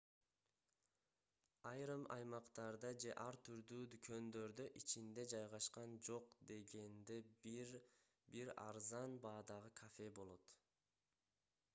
айрым аймактарда же ар түрдүү дүкөндөрдө ичинде жайгашкан жок дегенде бир арзан баадагы кафе болот